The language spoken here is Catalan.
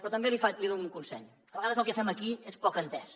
però també li dono un consell a vegades el que fem aquí és poc entès